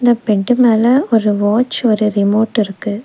Band மேல ஒரு watch ஒரு ரிமோட் இருக்கு.